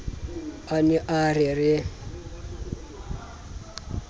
a ne a re re